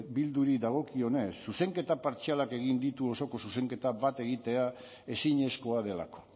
bilduri dagokionez zuzenketa partzialak egin ditu osoko zuzenketa bat egitea ezinezkoa delako